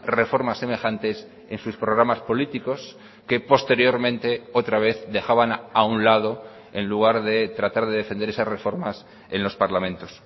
reformas semejantes en sus programas políticos que posteriormente otra vez dejaban a un lado en lugar de tratar de defender esas reformas en los parlamentos